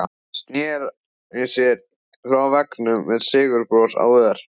Sneri sér frá veggnum með sigurbros á vör.